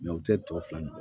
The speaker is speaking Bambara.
u tɛ tɔ fila ɲɔgɔn